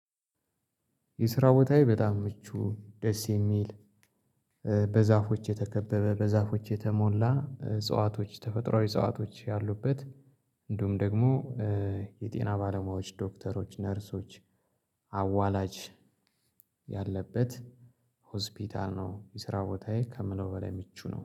የስራ ቦታዬ በጣም ምቹ ደስ የሚል በዛፎች የተከበበ በዛፎች የተሞላ እጽዋቶች ተፈጥሮአዊ እጸዋቶች ያሉበት። እንደውም ደግሞ የጤና ባለሙያዎች ዶክተሮች ነርሶች አዋላጅ ያለበት። ሆስፒታል ነው የሰራው ቦታዬ ከምለው በላይ ምቹ ነው